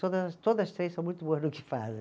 Todas as, todas três são muito boas no que fazem.